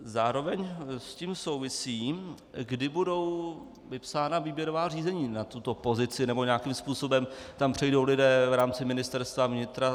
Zároveň s tím souvisí, kdy budou vypsána výběrová řízení na tuto pozici, nebo nějakým způsobem tam přejdou lidé v rámci Ministerstva vnitra.